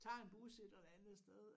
Tager en bus et eller andet sted